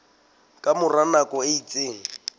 ka mora nako e itseng